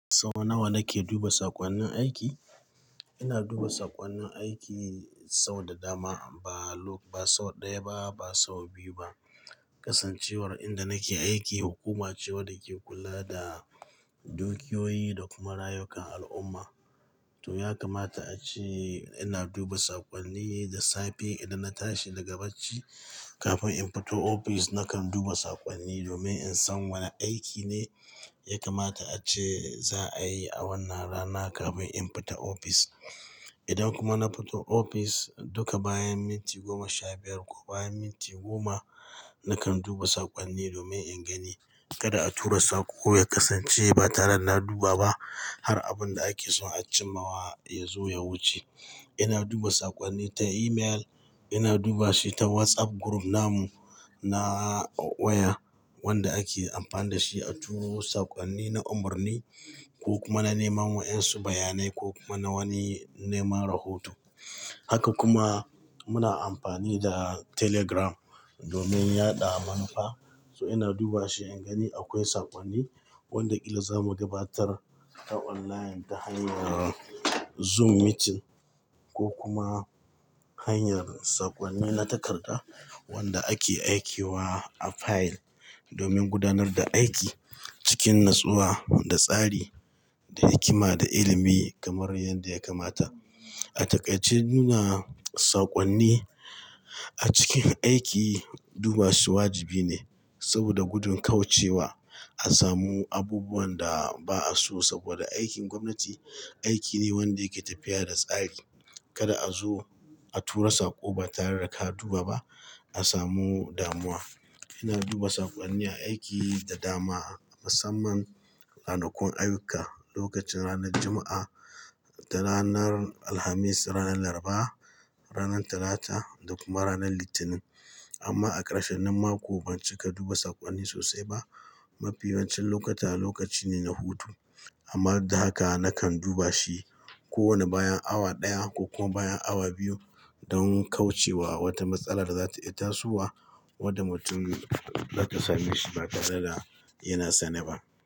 Sau nawa nake duba saƙonnin aiki? Ina duba saƙonnin aiki sau da dama, ba sau ɗaya ba, ba sau biyu ba. Kasancewar inda nake aiki hukuma ce wadda ke kula da dukiyoyi da kuma rayukan al'umma. To, ya kamata a ce ina duba saƙonni da safe idan na tashi daga bacci. Kafin in fito ofis, nakan duba saƙonni domin in san wane aiki ne ya kamata ace za a yi a wannan rana kafin in fita ofis. Idan kuma na fito ofis, duka bayan minti goma sha biyar ko bayan minti goma, nakan duba saƙonni domin in gani kada a tura saƙo ya kasance ba tare da na duba ba, har abun da ake so a cimmawa ya zo ya wuce. Ina duba saƙonni ta email, ina duba shi ta WhatsApp group namu na OYA, wanda ake amfani da shi a turo saƙonni na umarni ko kuma na neman waƴansu bayanai ko kuma na wani neman rahoto. Haka kuma muna amfani da Telegram domin yaɗa manufa. So ina duba shi in gani akwai saƙonni wanda ƙila za mu gabatar ta online ta hanyar Zoom meeting ko kuma hanyar saƙonni na takarda wanda ake aikewa a fayil domin gudanar da aiki cikin natsuwa da tsari, da hikima da ilimi kamar yanda ya kamata. A taƙaice nuna saƙonni a cikin aiki duba shi wajibi ne saboda gudun kaucewa a samu abubuwan da ba'a so, saboda aikin gwamnati aiki ne wanda yake tafiya da tsari. Kada a zo a tura saƙo ba tare da ka duba ba a samu damuwa. Ina duba saƙonni a aiki da dama, musamman ranakun ayyuka, lokacin ranar Juma'a, da ranar Alhamis, ranar Laraba, ranar Talata da kuma ranar Litinin. Amma a ƙarshenin mako ban cika duba saƙonni sosai ba. Mafi yawancin lokuta lokaci ne na hutu, amma duk da haka nakan duba shi kowanne bayan awa ɗaya ko kuma bayan awa biyu dan kaucewa wata matsala da za ta iya tasowa wadda mutum za ta same shi ba tare da yana sane ba.